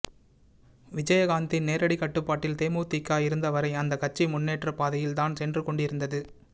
விஜயகாந்தின் நேரடி கட்டுப்பாட்டில் தேமுதிக இருந்தவரை அந்த கட்சி முன்னேற்றப்பாதையில் தான் சென்று கொண்டிருந்தது